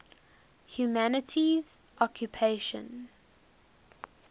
humanities occupations